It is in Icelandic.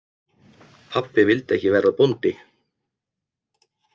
Pabbi vildi ekki verða bóndi.